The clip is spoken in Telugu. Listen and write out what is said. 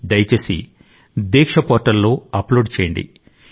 దయచేసి దీక్ష పోర్టల్లో అప్లోడ్ చేయండి